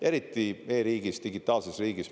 Eriti e-riigis, digitaalses riigis.